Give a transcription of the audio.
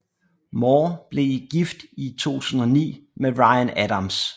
Moore blev gift i 2009 med Ryan Adams